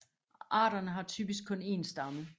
Arterne har typisk kun én stamme